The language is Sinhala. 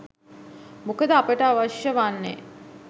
මොකද අපට අවශ්‍ය වන්නේ